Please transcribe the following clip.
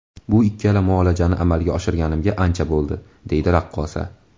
Bu ikkala muolajani amalga oshirganimga ancha bo‘ldi”, deydi raqqosa.